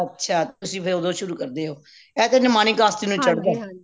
ਅੱਛਾ ਤੁਸੀਂ ਫੇਰ ਓਦੋ ਸ਼ੁਰੂ ਕਰਦੇ ਹੋ ਏਹ ਤਾ ਨਿਮਾਣੀ ਕਾਸ਼ਤੀ ਨੂੰ ਚੜਦਾ